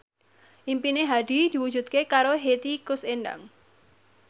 impine Hadi diwujudke karo Hetty Koes Endang